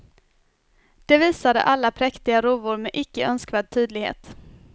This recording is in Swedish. Det visade alla präktiga rovor med icke önskvärd tydlighet.